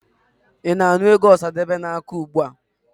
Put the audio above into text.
Ị na-anụ egwu Ọsadebe na-akụ ugbua.